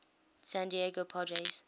san diego padres